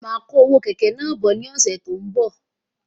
Máa kó owó kẹ̀kẹ́ náà bọ̀ ní ọsẹ tó n bọ